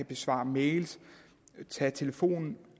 besvare mails tage telefonen